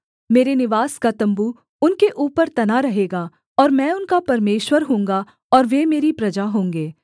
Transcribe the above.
मेरे निवास का तम्बू उनके ऊपर तना रहेगा और मैं उनका परमेश्वर होऊँगा और वे मेरी प्रजा होंगे